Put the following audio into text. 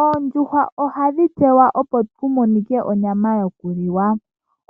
Oondjuhwa ohadhi tekulwa opo ku monike onyama yoku liwa.